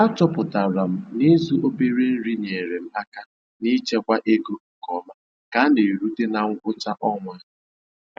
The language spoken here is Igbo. A chọpụtara m na ịzụ obere nri nyeere m aka n'ichekwa ego nke ọma ka a na-erute na ngwụcha ọnwa.